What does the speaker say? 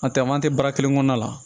A tɛmɛn'a tɛ baara kelen kɔnɔna la